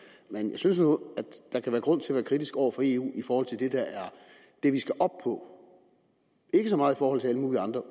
men jeg synes nu der kan være grund til at være kritisk over for eu i forhold til det vi skal op på ikke så meget i forhold til alle mulige andre